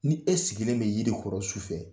Ni e sigilen bɛ yiri kɔrɔ su fɛ